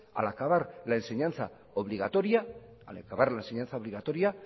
al acabar la enseñanza obligatoria